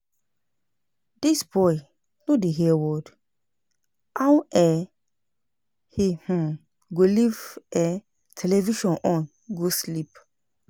Dis boy no dey hear word. How um he um go live um television on go sleep